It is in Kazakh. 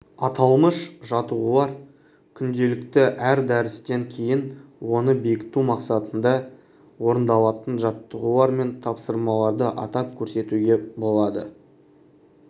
аталмыш жаттығулар күнделікті әр дәрістен кейін оны бекіту мақсатында орындалатын жаттығулар мен тапсырмаларды атап көрсетуге болады